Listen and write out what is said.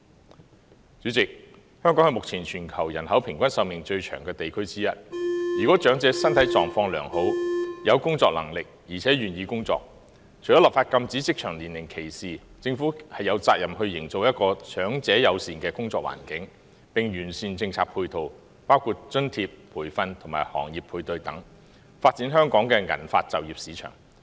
代理主席，香港是目前全球其中一個人口平均壽命最長的地區，如果長者身體狀況良好、有工作能力，而且願意工作，除了立法禁止職場年齡歧視外，政府亦有責任營造一個長者友善的工作環境，並完善政策配套，包括津貼、培訓及行業配對等，以發展香港的銀髮就業市場。